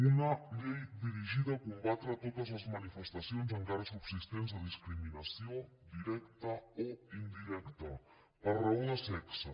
una llei dirigida a combatre totes les manifestacions encara subsistents de discriminació directa o indirecta per raó de sexe